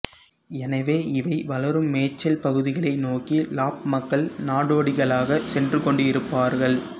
எனவே இவை வளரும் மேய்ச்சல் பகுதிகளை நோக்கி லாப் மக்கள் நாடோடிகளாகச் சென்றுகொண்டிருப்பார்கள்